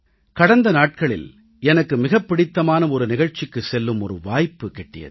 கடந்த நாட்களில் எனக்கு மிகப் பிடித்தமான ஒரு நிகழ்ச்சிக்குச் செல்லும் ஒரு வாய்ப்பு கிட்டியது